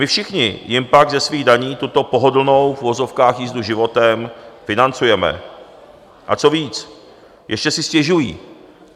My všichni jim pak ze svých daní tuto pohodlnou v uvozovkách jízdu životem financujeme, a co víc, ještě si stěžují!